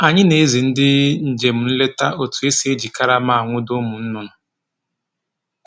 Anyị na-ezi ndị njem nleta otu e si eji karama anwụdo ụmụ ahụhụ